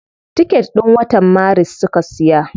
Ticket din watan maris suka siya.